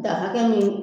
Da hakɛ mun